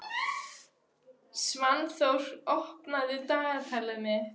Svanþór, opnaðu dagatalið mitt.